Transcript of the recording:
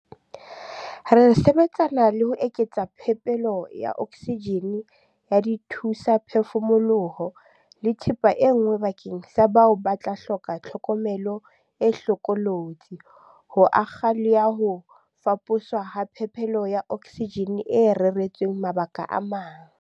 Re sebetsana le ho eketsa phepelo ya oksijene, ya dithu-saphefumoloho le thepa e nngwe bakeng sa bao ba tla hloka tlhokomelo e hlokolotsi, ho akga le ya ho faposwa ha phepelo ya oksijene e reretsweng mabaka a mang.